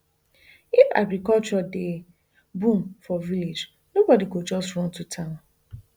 if agriculture dey boom for village nobody go just dey rush go town